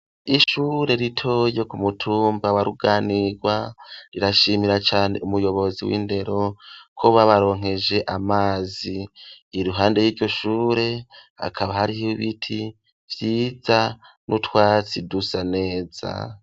Ishure ritoya ryo ku mutumba wa Ruganirwa rirashimira cane umuyobozi w'indero ko babaronkeje amazi iruhande yiryo shure hakaba hariho biti vyiza n'utwatsi dusa neza.